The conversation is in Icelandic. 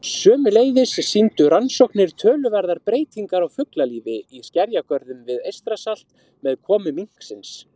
Sömuleiðis sýndu rannsóknir töluverðar breytingar á fuglalífi í skerjagörðum við Eystrasalt með komu minksins.